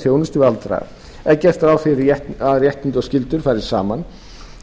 þjónustu við aldraða er gert ráð fyrir að réttindi og skyldur fari saman